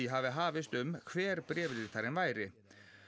hafi hafist um hver bréfritarinn væri